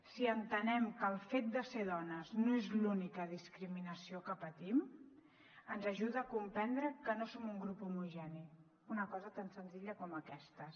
si entenem que el fet de ser dones no és l’única discriminació que patim ens ajuda a comprendre que no som un grup homogeni una cosa tan senzilla com aquesta